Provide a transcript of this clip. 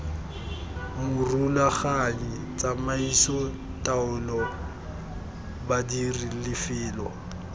morulaganyi tsamaiso taolo badiri lefelo